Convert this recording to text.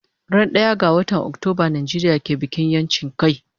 Ran daya ga watan Octoba Nijeria ke yin bikin yanchin kai